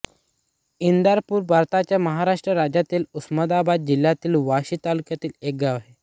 इंदापूर हे भारताच्या महाराष्ट्र राज्यातील उस्मानाबाद जिल्ह्यातील वाशी तालुक्यातील एक गाव आहे